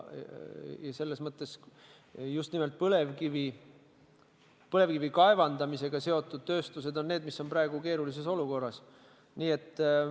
Ja just nimelt põlevkivi kaevandamisega seotud tööstused on need, mis on praegu keerulises olukorras.